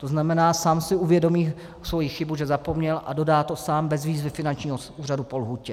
To znamená, sám si uvědomí svoji chybu, že zapomněl, a dodá to sám bez výzvy finančního úřadu po lhůtě.